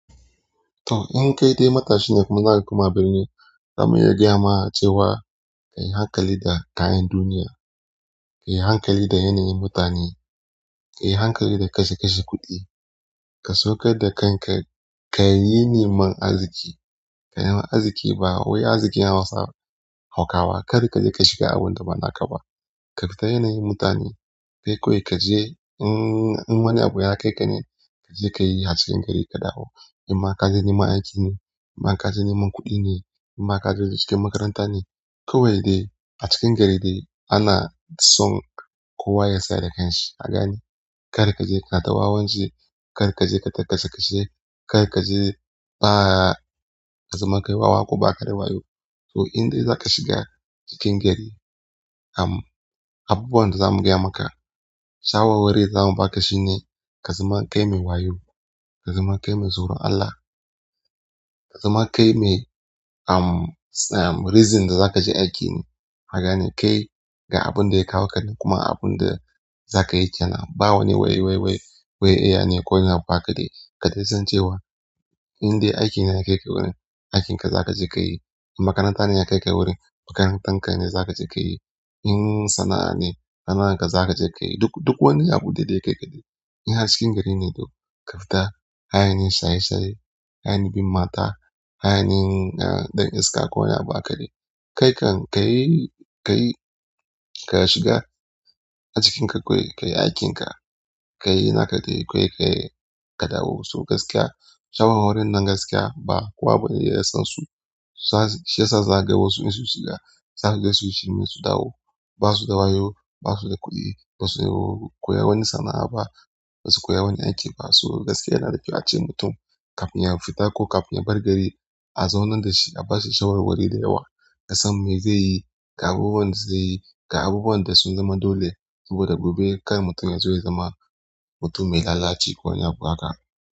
To, in kai dai matashi ne kuma na kuma birni, zamuyi gya ma cewa ka yi hankali da kayan duniya, ka yi hankali da yanayin mutane, ka yi hankali da kashe kashe kuɗi. Ka saukar da kanka, ka yi neman arziki, ka yi arziki ba wai arziki na Hausa, hakawa. Kar ka je ka shiga abunda bana ka ba. Ka fita yanayin mutane, kai kawai ka je in, in wani abu ya kai ka ne, ka je ka yi harshen gari ka dawo. In ma ka je neman aiki ne, in ma ka je neman kuɗi ne, in ma ka je cikin makaranta ne, kawai dai a cikin gari dai ana son kowa ya sayar da kansa. Haka ne, kar ka je ka dawo wanzai, kar ka je ka kashe kashe, kar ka je ba ka zama kai wawa ko ba ka da wayo. To, in dai zaka shiga cikin gari, am, abubuwan da zamu gaya maka, shawarwari da za mu baka shine ka zama kai mai wayo, ka zama kai mai tsoron Allah, ka zama kai mai am, reason da zaka je aiki ne. Haka ne, kai ga abunda ya kawo ka nan kuma abunda za ka yi can. Ba wane wai, wai, wai, wai iya ne ko wani abu aka yi. Ka dai san cewa in dai aikine ya kai ka wurin, aikinka zaka je ka yi. Makaranta ne ya kai ka wurin, makarantarka ne zaka je ka yi. In sana'a ne, sana'arka zaka je ka yi. Duk, duk wani abu dai dai yake kaɗai. In a cikin gari ne duk, ka fita, ba yin shaye shaye, ba ye bin mata, ba ye ne ɗan iska ko wani abu aka yi. Kai kan ka yi, ka yi, ka shiga a cikinka kawai, ka yi aikin ka, ka yi naka dai kawai ka yi ka dawo. So gaskiya, shawarwarin nan gaskiya ba kowa bane ya san su. Shi yasa zaka waƴans in sun shiga, zaka ga sun dawo ba su da wayo, ba su da kuɗi, ba su da koyarwar sana'a ba, ba su koyi wani aiki ba. So gaskiya yana da kyau a ce mutum kafin ya fita ko kafin ya bar gari, a zaunar da shi, a bashi shawarwari da yawa. Ya san me zai yi, ga abubuwan da zai yi, ga abubuwan da sun zama dole saboda gobe kai mutum yana so ya zama mutum mai lalaci ko wani abu haka.